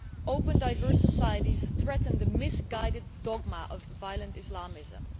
Open diverse societies threaten the misguided dogma of violent Islamism.